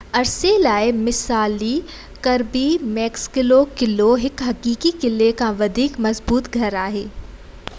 عرصي لاءِ مثالي ڪربي ميڪسلو قلعو هڪ حقيقي قلعي کان وڌيڪ مضبوط گهر آهي